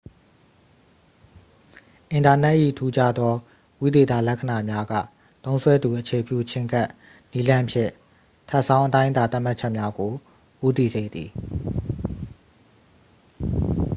အင်တာနက်၏ ထူးခြားသော ဝိသေသလက္ခဏာများက သုံးစွဲသူအခြေပြုချဉ်းကပ်နည်းလမ်းဖြင့် ထပ်ဆောင်းအတိုင်းအတာ သတ်မှတ်ချက်များကို ဦးတည်စေသည်